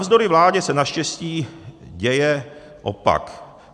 Navzdory vládě se naštěstí děje opak.